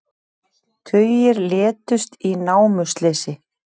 Tugir létust í námuslysi